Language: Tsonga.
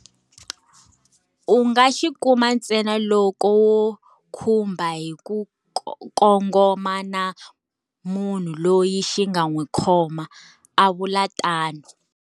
U nga xi kuma ntsena loko wo khumba hi ku kongoma na munhu loyi xi nga n'wi khoma, a vula tano.